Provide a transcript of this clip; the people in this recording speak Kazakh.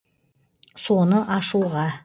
соны ашуға